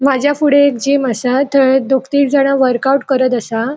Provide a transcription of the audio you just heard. माज्या फुड़े एक जिम असा थंय दोग तीग जाणा वर्काउट करत असा.